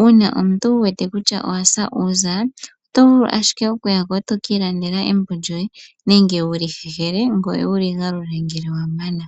uuna omuntu wa mono kutya owasa uuza oto vulu ashike okuyako wukalande embo lyoye nenge wuli hehele ngoye wuli gule ngele wa mana.